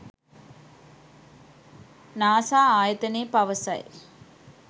NASA ආයතනය පවසයි